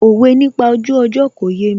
Òwe nípa ojú ọjọ́ kò yémi